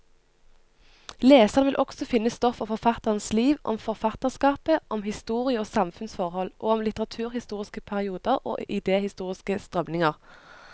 Leserne vil også finne stoff om forfatternes liv, om forfatterskapet, om historie og samfunnsforhold, og om litteraturhistoriske perioder og idehistoriske strømninger.